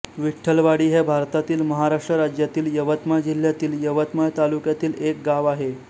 विठ्ठलवाडी हे भारतातील महाराष्ट्र राज्यातील यवतमाळ जिल्ह्यातील यवतमाळ तालुक्यातील एक गाव आहे